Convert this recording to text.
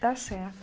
Está certo.